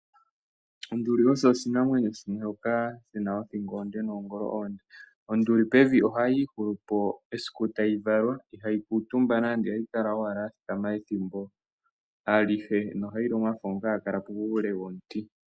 Onduli oyo oshinamwenyo shoka shina othingo onde, noongolo oonde. Onduli pevi ohayii hulupo esiku ndyoka tayi valwa, ihayi kuuntumba nande, ohayi kala owala ya thikama ethimbo alihe. Onduli ohayi li omafo ngoka haga puule womuti.